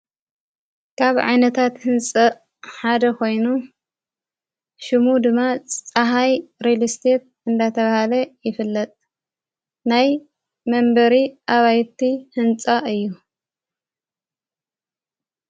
ካብ ዓይነታት ሕንፂ ሓደ ኾይኑ ሹሙ ድማ ፀሓይ ሬሊስሴት እንዳተብሃለ ይፍለጥ ናይ መንበሪ ኣባይቲ ሕንጻ እዩ።